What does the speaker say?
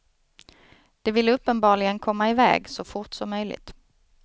De ville uppenbarligen komma iväg, så fort som möjligt.